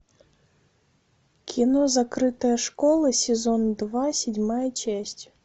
кино закрытая школа сезон два седьмая часть